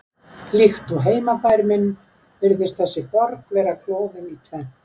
Líkt og heimabær minn virðist þessi borg vera klofin í tvennt